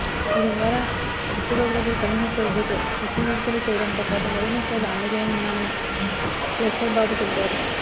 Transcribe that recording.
దీని ద్వారా కుష్టు రోగులకు కనీస ఛార్జీతో శస్త్ర చికిత్సలు చేయడంతోపాటు మరిన్ని సేవలు అందజేయనున్నామని స్లెస్సర్ బాబు తెలిపారు